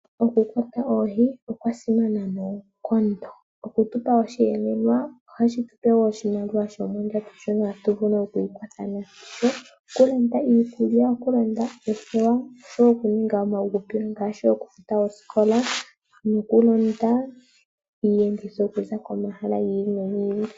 Oku kwata oohi okwa simana noonkondo. Oku tupa osheelelwa, ohashi tupe woo oshimaliwa shomondjato shino tatu vulu ku ikwatha nasho, okulanda iikulya, okulanda oothewa, oshowo okuninga omauhupilo ngaashi okufuta oosikola, noku londa iiyenditho okuza komahala gi ili nogi ili.